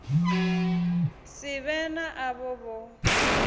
si vhe na avho vho